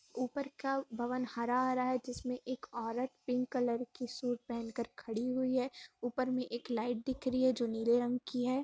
ऊपर का भवन हरा हरा है जिसमें एक औरत पिंक कलर की सूट पहन का खड़ी हुई है | ऊपर में एक लाईट दिख रही है जो नीले रंग की है।